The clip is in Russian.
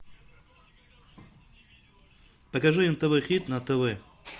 покажи нтв хит на тв